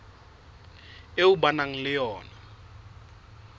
eo ba nang le yona